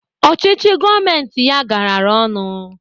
Ọchịchị gọọmenti ya garara ọnụ